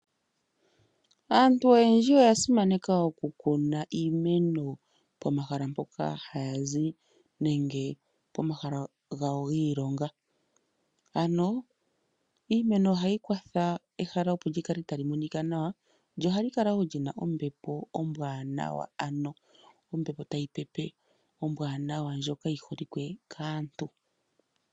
Aantu oyendji oya simaneka okukuna iimeno pomahala mpoka haya zi nenge pomahala gawo giilonga. Iimeno ohayi kwatha, opo ehala li kale tali monika nawa, lyo ohali kala wo li na ombepo ombwaanawa, ano ombepo tayi pepe ombwaanawa ndjoka yi holike kaantu.